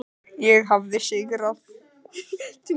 Ég hafði sigrað.